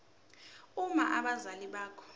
uma abazali bakho